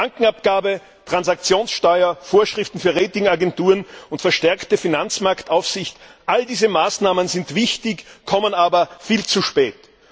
Bankenabgabe, Transaktionssteuer, Vorschriften für Rating Agenturen und verstärkte Finanzmarktaufsicht all diese Maßnahmen sind wichtig, kommen aber viel zu spät.